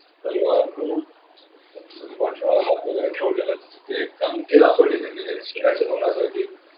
तलवार look पाठी मागे ठेवलेले हे ते दाखवली ही त्यांनी तो सिंहाच्या तोंड सारखी